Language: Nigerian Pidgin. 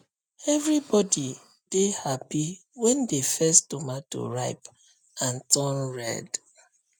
everybody dey happy when the first tomato ripe and turn red